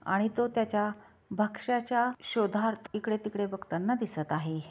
आणि तो त्याच्या भक्ष्याच्या शोधार्थ इकडे तिकडे बघताना दिसत आहे.